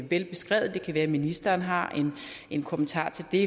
velbeskrevet det kan være ministeren har en kommentar til det